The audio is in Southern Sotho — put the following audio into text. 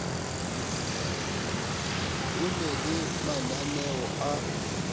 ho na le mananeo a